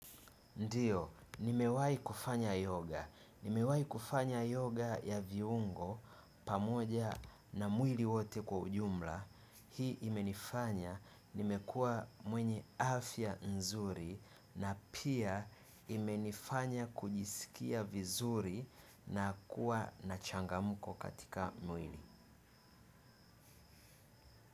Ndiyo, nimewahi kufanya yoga. Nimewahi kufanya yoga ya viungo pamoja na mwili wote kwa ujumla. Hii imenifanya, nimekua mwenye afya nzuri na pia imenifanya kujisikia vizuri na kuwa na changamko katika mwili.